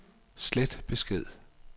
slet besked